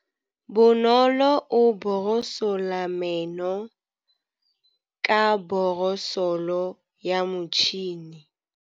Bonolô o borosola meno ka borosolo ya motšhine.